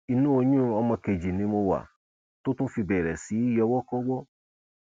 inú oyún ọmọ kejì ni mo wà tó tún fi bẹrẹ sí í yọwọkọwọ